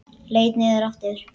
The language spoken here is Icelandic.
Leit niður aftur.